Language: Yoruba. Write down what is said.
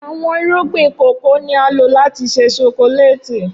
Awọn irugbin kòkó ni a lo lati ṣe sokókólétì